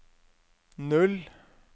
null